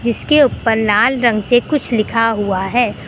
इसके ऊपर लाल रंग से कुछ लिखा हुआ है।